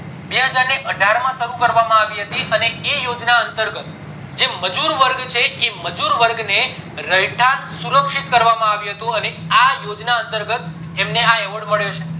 બેહજાર ને અઢાર માં શરુ કરવામાં આવી હતી અને એ યોજના અંતર ગત જે મજુર વર્ગ છે એ મજુર વર્ગ ને રહેઠાણ શુરાક્શીતા કરવામાં આવ્યું હતું અને આ યોજના અંતર ગત એમને award મળ્યો છે